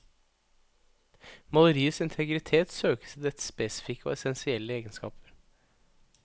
Maleriets integritet søkes i dets spesifikke og essensielle egenskaper.